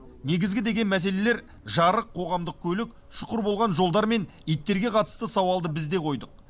негізгі деген мәселелер жарық қоғамдық көлік шұқыр болған жолдар мен иттерге қатысты сауалды біз де қойдық